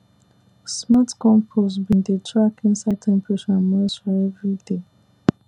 smart compost bin dey track inside temperature and moisture every day